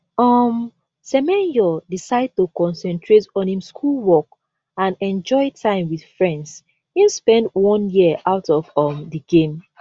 um semenyo decide to concentrate on im schoolwork and enjoy time wit friends im spend one year out of um di game